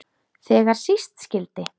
Þegar síst skyldi.